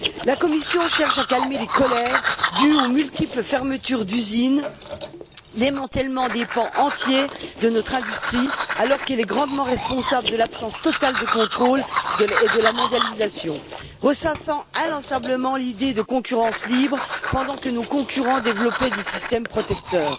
La Commission cherche à calmer les colères dues aux multiples fermetures d'usines et au démantèlement de pans entiers de notre industrie, alors qu'elle est grandement responsable de l'absence totale de contrôle et de la mondialisation, en ressassant inlassablement l'idée de la concurrence libre pendant que nos concurrents développent des systèmes protecteurs.